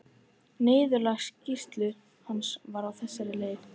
Niðurlag skýrslu hans var á þessa leið